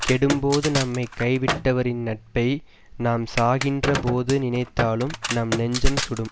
கெடும்போது நம்மை கைவிட்டவரின் நட்பை நாம் சாகின்ற போது நினைத்தாலும் நம் நெஞ்சம் சுடும்